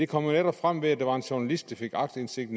kom netop frem ved at der var en journalist der fik aktindsigt